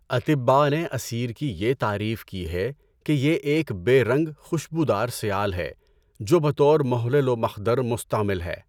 اطِبّاء نے اثیر کی یہ تعریف کی ہے کہ یہ ایک بے رنگ خوشبو دار سیال ہے جو بطور محلل و مخدر مستعمل ہے۔